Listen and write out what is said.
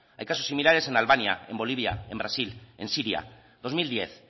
hay casos similares en albania en bolivia en brasil en siria dos mil diez